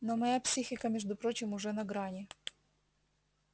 но моя психика между прочим уже на грани